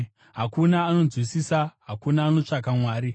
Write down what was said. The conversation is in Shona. hakuna anonzwisisa, hakuna anotsvaka Mwari.